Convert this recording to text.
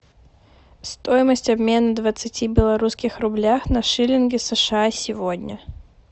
стоимость обмена двадцати белорусских рубля на шиллинги сша сегодня